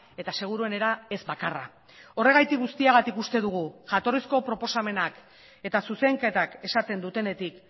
eta seguruenera ez bakarra horregatik guztiagatik uste dugu jatorrizko proposamenak eta zuzenketak esaten dutenetik